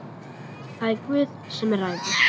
Það er Guð sem ræður.